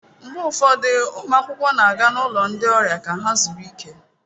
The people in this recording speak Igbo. Mgbe ụfọdụ ụmụ akwụkwọ na-aga n'ụlọ ndị ọrịa ka ha zuru ike.